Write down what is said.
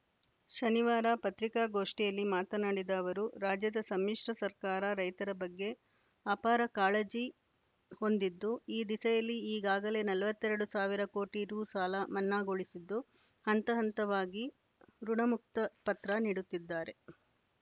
ಶನಿವಾರ ಪತ್ರಿಕಾಗೋಷ್ಠಿಯಲ್ಲಿ ಮಾತನಾಡಿದ ಅವರು ರಾಜ್ಯದ ಸಮ್ಮಿಶ್ರ ಸರ್ಕಾರ ರೈತರ ಬಗ್ಗೆ ಅಪಾರ ಕಾಳಜಿ ಹೊಂದಿದ್ದು ಈ ದಿಸೆಯಲ್ಲಿ ಈಗಾಗಲೇ ನಲವತ್ತ್ ಎರಡು ಸಾವಿರ ಕೋಟಿ ರು ಸಾಲ ಮನ್ನಾಗೊಳಿಸಿದ್ದು ಹಂತಹಂತವಾಗಿ ಋುಣ ಮುಕ್ತ ಪತ್ರ ನೀಡುತ್ತಿದ್ದಾರೆ